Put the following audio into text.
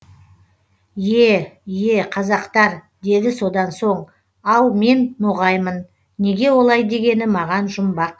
е е қазақтар деді содан соң ал мен ноғаймын неге олай дегені маған жұмбақ